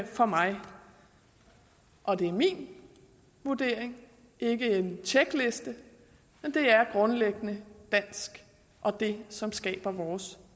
for mig og det er min vurdering ikke en tjekliste men det er grundlæggende dansk og det som skaber vores